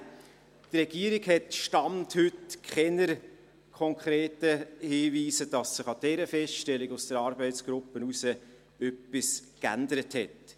Die Regierung hat, Stand heute, keine konkreten Hinweise darauf, dass sich an dieser Feststellung der Arbeitsgruppe etwas geändert hat.